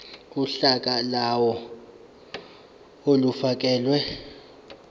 uhla lawo olufakelwe